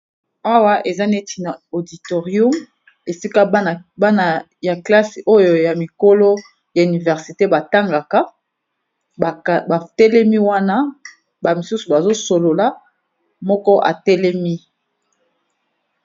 Awa eza neti na auditorio esika bana ya classe oyo ya mikolo ya université ba tangaka. Ba telemi wana ba misusu bazo solola, moko atelemi.